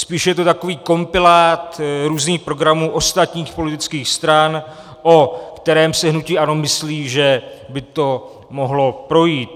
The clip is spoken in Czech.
Spíš je to takový kompilát různých programů ostatních politických stran, o kterém si hnutí ANO myslí, že by to mohlo projít.